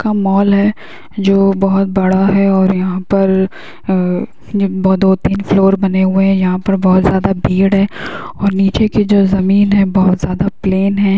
का मॉल है जो बहुत बड़ा है और यहा पर अ-अ-अ ये वो दो-तीन फ्लोर बने हुए है यहा पर बहुत ज़्यादा भीड़ है और नीचे की जो ज़मीन है बहुत ज़्यादा प्लेन है।